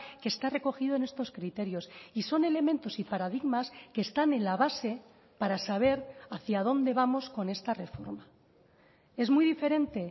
que está recogido en estos criterios y son elementos y paradigmas que están en la base para saber hacia dónde vamos con esta reforma es muy diferente